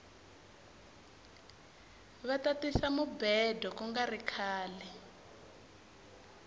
vata tisa mubhedo kungari khale